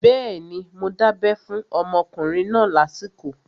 Bẹ́ẹ̀ni, mo dábẹ́ fún ọmọkùnrin náà lásìkò